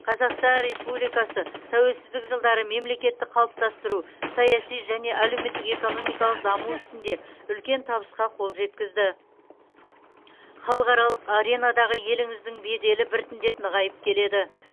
қазақстан республикасы тәуелсіздік жылдары мемлекетті қалыптастыру саяси және әлеуметтік экономикалық даму ісінде үлкен табысқа қол жеткізді халықаралық аренадағы еліңіздің беделі біртіндеп нығайып келеді